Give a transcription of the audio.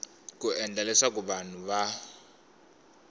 ku endla leswaku vanhu va